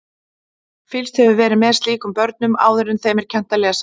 Fylgst hefur verið með slíkum börnum áður en þeim er kennt að lesa.